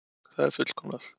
Það er fullkomnað.